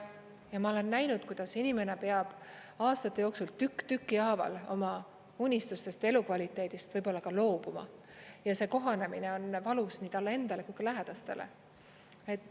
Ma olen näinud, kuidas inimene peab aastate jooksul tükk tüki haaval oma unistustest, elukvaliteedist võib-olla loobuma ja see kohanemine on valus nii talle endale kui lähedastele.